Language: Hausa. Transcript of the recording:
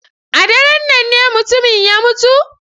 A daren nan ne mutumin ya mutu?